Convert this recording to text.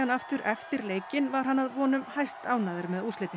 aftur eftir leikinn var hann að vonum hæstánægður með úrslitin